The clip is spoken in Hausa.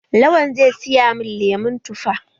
Lawan zai siya min lemon tufa.